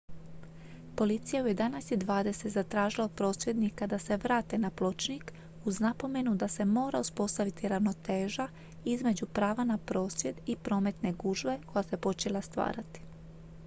policija je u 11:20 zatražila od prosvjednika da se vrate na pločnik uz napomenu da se mora uspostaviti ravnoteža između prava na prosvjed i prometne gužve koja se počela stvarati